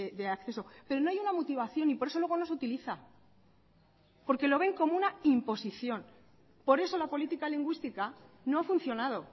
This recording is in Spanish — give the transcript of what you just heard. de acceso pero no hay una motivación y por eso luego no se utiliza porque lo ven como una imposición por eso la política lingüística no ha funcionado